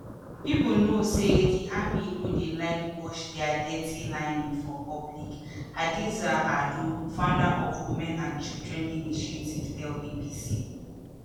"pipo know say di army no dey like wash dia dirty linen for public" hadiza ado founder of women and children initiative tell bbc.